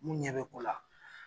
Mun ɲɛ be ko la